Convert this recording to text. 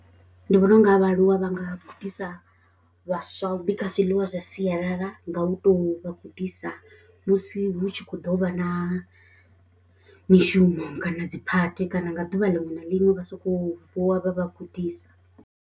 Ndi vhona u nga ha vhaaluwa vha nga gudisa vhaswa u bika zwiḽiwa zwa sialala nga u tou vha gudisa musi hu tshi khou ḓo vha na mishumo kana dziphathi kana nga ḓuvha liṅwe na liṅwe vha sokou vuwa vha vha gudisa.